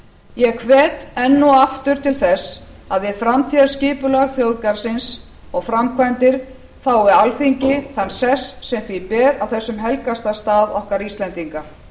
ég hvet enn og aftur til þess að við framtíðarskipulag þjóðgarðsins og framkvæmdir fái alþingi þann sess sem því ber á þessum helgasta stað okkar íslendinga